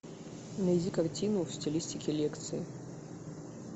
найди картину в стилистике лекции